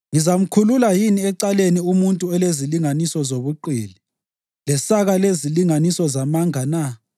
Ngizamkhulula yini ecaleni umuntu olezilinganiso zobuqili, lesaka lezilinganiso zamanga na?